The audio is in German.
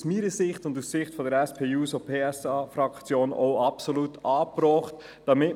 Sie haben das Postulat mit 85 Ja- zu 60 Nein-Stimmen bei 1 Enthaltung abgeschrieben.